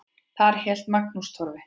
Þar hélt Magnús Torfi